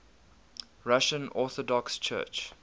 russian orthodox church